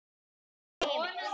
hart er í heimi